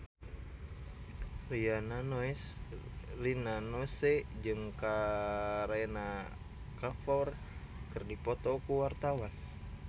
Rina Nose jeung Kareena Kapoor keur dipoto ku wartawan